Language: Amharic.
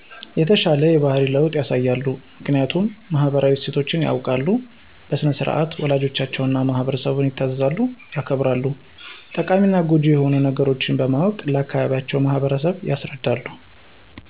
የተሻለ ባህሪ ለዉጥ ያሳያሉ። ምክኒያቱም ማህበራዊ እሴቶች ያዉቃሉ በሥነ -ስርዓት ወላጆቻቸዉን እና ማህበረሰብን ይታዘዛሉ ያከብራሉ። ጠቃሚና ጎጂ የሆኑ ነገሮች በማወቅ ለአካባቢዉ ማህበረሰብ ያስረዳሉ።